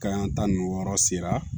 Ka yan ta nin wɔɔrɔ sera